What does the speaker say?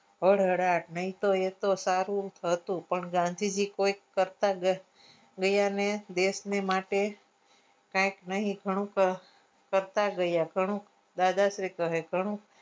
હળ હાડાટ નહીતો આતો સારું હતું પણ ગાંધીજી કોઈક કરતા ગયા ને દેશને માટે કાઈક નહિ ઘણું કરતા ગયા દાદાશ્રી કહે કે ઘણું